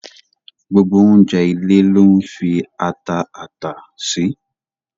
Gbogbo ọ̀unjẹ̀ ilẹ̀ ló n fi atà àtà sì.